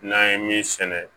N'an ye min sɛnɛ